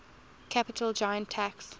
capital gains tax